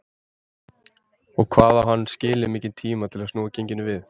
Og hvað á hann skilið mikinn tíma til að snúa genginu við?